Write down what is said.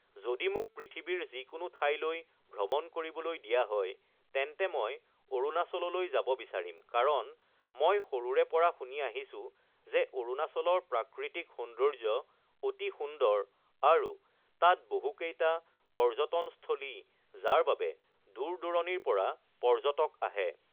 যদি মোক পৃথিৱীৰ যিকোনো ঠইলৈ ভ্ৰমণ কৰিবলৈ দিয়া হয় তেন্তে মই অৰুণাচললৈ যাব বিচাৰিম কাৰণ মই সৰুৰে পৰা শুনি আহিছোঁ যে অৰুণাচলৰ প্ৰাকৃতিক সৌন্দৰ্য অতি সুন্দৰ আৰু তাৰ বহুকেইটা পৰ্যটনস্থলী যাৰ বাবে দূৰ-দূৰণিৰ পৰা পৰ্যটক আহে